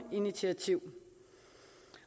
initiativ